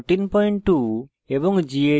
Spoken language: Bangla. perl 5142 এবং